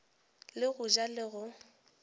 le go ja le go